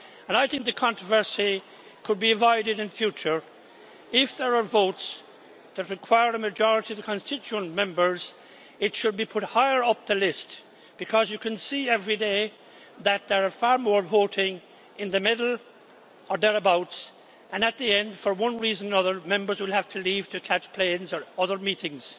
I think the controversy could be avoided in future if, when there are votes that require a majority of the constituent members, it should be put higher up the list. You can see every day that there are far more voting in the middle or thereabouts. At the end, for one reason or another, Members will have to leave to catch planes or have other meetings.